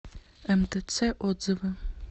мтц отзывы